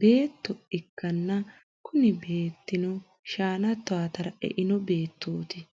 betto ikana kuni beteino shanna tawwatara e’eino bettoti